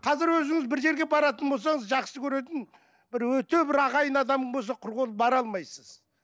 қазір өзіңіз бір жерге баратын болсаңыз жақсы көретін бір өте бір ағайын адамың болса құр қол бара алмайсыз